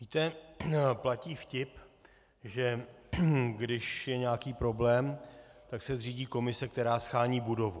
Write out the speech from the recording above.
Víte, platí vtip, že když je nějaký problém, tak se zřídí komise, která shání budovu.